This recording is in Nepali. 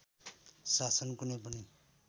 शासन कुनै पनि